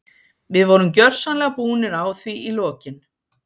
Við vorum gjörsamlega búnir á því í lokin.